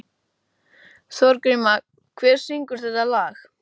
Þorgríma, hver syngur þetta lag?